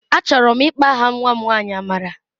Achọrọ m ịkpọ aha nwa m nwanyị Amara.